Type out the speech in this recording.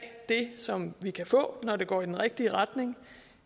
det som vi kan få når det går i den rigtige retning